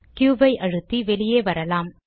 Q ஐ அழுத்தி வெளியே வரலாம்